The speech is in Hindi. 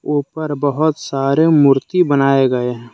ऊपर बहुत सारे मूर्ति बनाये गए है।